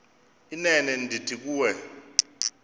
inene ndithi kuwe